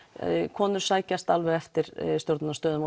konur sækjast alveg eftir stjórnunarstöðum